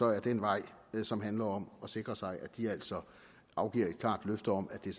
er den vej som handler om at sikre sig at de altså afgiver et klart løfte om at det